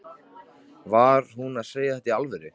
Var hún að segja þetta í alvöru?